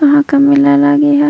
काहा का मेला लागे हैं।